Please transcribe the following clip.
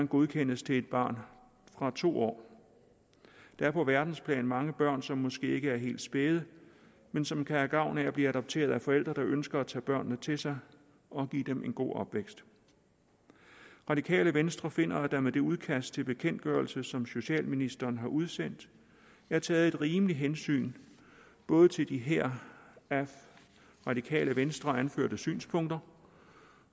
godkendes til et barn fra to år der er på verdensplan mange børn som måske ikke er helt spæde men som kan have gavn af at blive adopteret af forældre der ønsker at tage børnene til sig og give dem en god opvækst radikale venstre finder at der med det udkast til bekendtgørelse som socialministeren har udsendt er taget et rimeligt hensyn både til de her af radikale venstre anførte synspunkter